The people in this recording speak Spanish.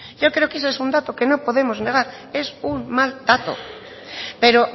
yo creo que ese es un dato que no podemos negar es un mal dato pero